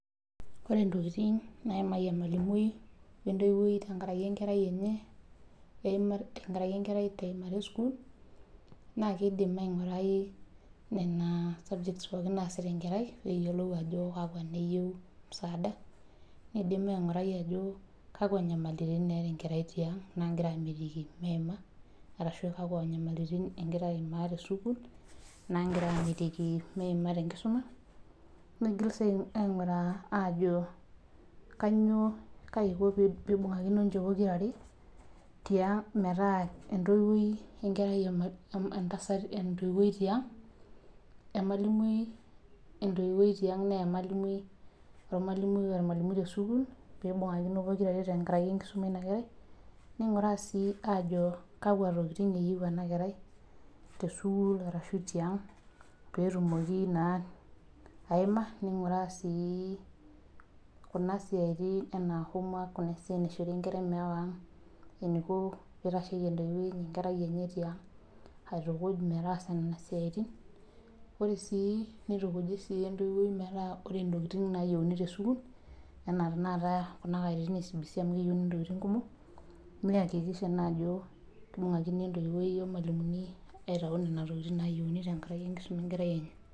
Ore ntokitin nayimaki ormalimui wee ntoyiwuoi tenkaraki enkerai enye tenkaraki enkerai tee nkiyimata ee sukuul naa kidim ainguraki Nena subjects pookin naasita enkerai pee eyiolou Ajo kakua naayieu msaada nidim ainguraki Ajo akua nyamalitin etaa enkerai tiang naagira amitiki meyima ashu kakua nyamalitin egiaraa ayimaa tee sukuul naagira amitiki meyima tee nkisuma nigil sii aing'uraa Ajo kaiko pee eibungakino ninche pookira are tinga metaa entoyiwuoi emalimui tiang naa omalimui tee ormalimui tee sukuul pee eibungakino pokira are tenkaraki enkisuma eina kerai ninguraa sii Ajo kakua tokitin eyieu ena kerai tee sukuul arashu tiang pee tumoki ayima ninguraa sii Kuna siatin enaa homework Kuna siatin naishori enkerai mewa ang enaiko entoyiwuoi pee eitasheki enkerai enye tiang aitukuj netaasa Nena siatin nitukuji sii entoyiwuoi metaa ore ntokitin nayieuni tee sukuul enaa tanakata kuna katitin ee CBC amu keyieuni ntokitin kumok nayakikisha Ajo ebungakinote emalimui entoyiwuoi aitau Nena tokitin nayieuni tenkaraki enkisuma enkerai enye